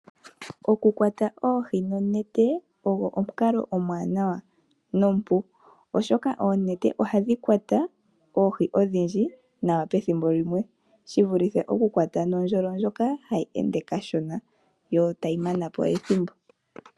Okukwata oohi nonete ogo omukalo omuwanawa nompu. Oshoka oonete ohadhi kwata oohi odhindji nawa pethimbo limwe shivulithe okukwata nuundjolo mboka hawu ende kashona wo tawu manapo ethimbo.